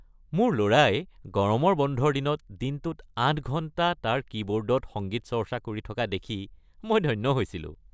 মোৰ ল'ৰাই গৰমৰ বন্ধৰ দিনত দিনটোত ৮ ঘণ্টা তাৰ কীবৰ্ডত সংগীত চৰ্চা কৰি থকা দেখি মই ধন্য হৈছিলোঁ।